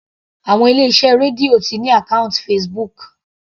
Àwọn ilé iṣẹ́ Radio ti ní àkọ́ùntì Facebook.